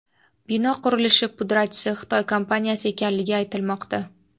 Bino qurilishi pudratchisi Xitoy kompaniyasi ekanligi aytilmoqda.